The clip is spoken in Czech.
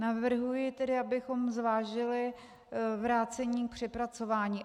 Navrhuji tedy, abychom zvážili vrácení k přepracování.